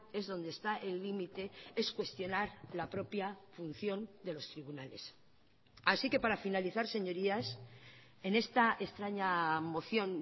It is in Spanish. es donde está el límite es cuestionar la propia función de los tribunales así que para finalizar señorías en esta extraña moción